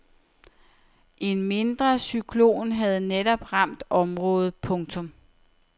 En mindre cyklon havde netop ramt området. punktum